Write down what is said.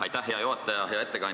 Aitäh, hea juhataja!